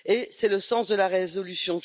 C'est le sens de la résolution.